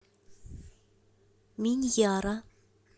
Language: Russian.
миньяра